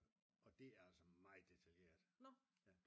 Og det er altså meget detaljeret